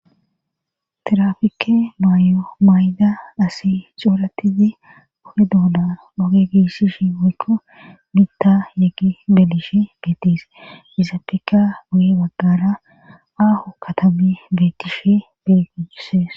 tirafike maayo mayda asi cooratizi oge doona oge giissishi moykko mita yeggi belishi geettis hisappeka guye baggara aaho katami beetishe beguuses